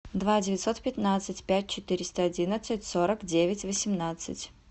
два девятьсот пятнадцать пять четыреста одиннадцать сорок девять восемнадцать